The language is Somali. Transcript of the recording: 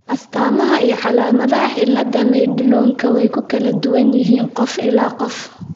astaamaha iyo calaamadaha cillada Madelungka way ku kala duwan yihiin qof ilaa qof.